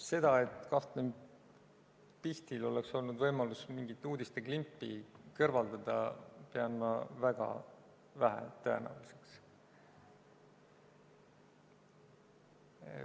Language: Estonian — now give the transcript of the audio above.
Seda, et kapten Pihtil oleks olnud võimalus mingit uudisteklippi kõrvaldada, pean ma väga vähetõenäoliseks.